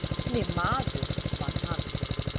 Þannig maður var hann.